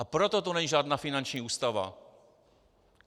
A proto to není žádná finanční ústava.